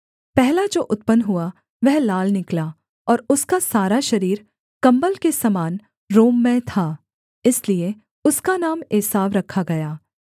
पहला जो उत्पन्न हुआ वह लाल निकला और उसका सारा शरीर कम्बल के समान रोममय था इसलिए उसका नाम एसाव रखा गया